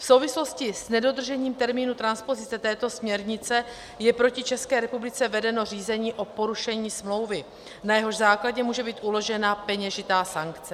V souvislosti s nedodržením termínu transpozice této směrnice je proti České republice vedeno řízení o porušení smlouvy, na jehož základě může být uložena peněžitá sankce.